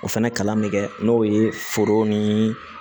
O fɛnɛ kalan bɛ kɛ n'o ye foro ni